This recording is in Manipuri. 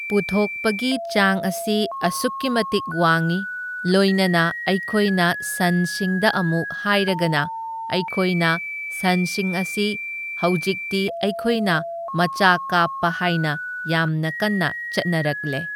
ꯄꯨꯊꯣꯛꯄꯒꯤ ꯆꯥꯡ ꯑꯁꯤ ꯑꯁꯨꯛꯀꯤ ꯃꯇꯤꯛ ꯋꯥꯡꯏ, ꯂꯣꯏꯅꯅ ꯑꯩꯈꯣꯏꯅ ꯁꯟꯁꯤꯡꯗ ꯑꯃꯨꯛ ꯍꯥꯏꯔꯒꯅ ꯑꯩꯈꯣꯏꯅ ꯁꯟꯁꯤꯡ ꯑꯁꯤ ꯍꯧꯖꯤꯛꯇꯤ ꯑꯩꯈꯣꯏꯅ ꯃꯆꯥ ꯀꯥꯞꯄ ꯍꯥꯏꯅ ꯌꯥꯝꯅ ꯀꯟꯅ ꯆꯠꯅꯔꯛꯂꯦ꯫